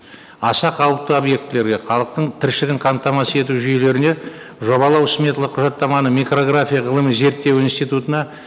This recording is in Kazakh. аса қауіпті объектілерге халықтың тіршілігін қамтамасыз ету жүйелеріне жобалық смета құжаттаманы микрография ғылыми зерттеу институтына